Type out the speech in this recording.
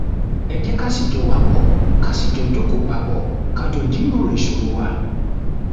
ẹ jẹ́ká sì jọ wàpọ̀, kà sì jọ jókòó papọ̀, ká jọ jíròrò ìṣòro wa